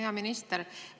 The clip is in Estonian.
Hea minister!